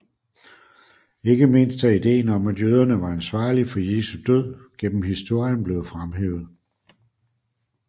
Ikke mindst er ideen om at jøderne var ansvarlige for Jesu død gennem historien blevet fremhævet